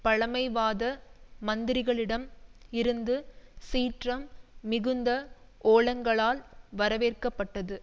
பழைமைவாத மந்திரிகளிடம் இருந்து சீற்றம் மிகுந்த ஓலங்களால் வரவேற்கப்பட்டது